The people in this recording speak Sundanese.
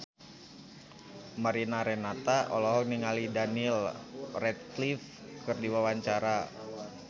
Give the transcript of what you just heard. Mariana Renata olohok ningali Daniel Radcliffe keur diwawancara